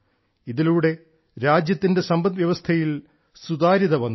ഇതിലൂടെ രാജ്യത്തിന്റെ സമ്പദ്വ്യവസ്ഥയിൽ സുതാര്യത വന്നു